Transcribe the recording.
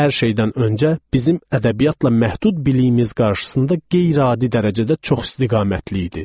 Hər şeydən öncə bizim ədəbiyyatla məhdud biliyimiz qarşısında qeyri-adi dərəcədə çoxistiqamətli idi.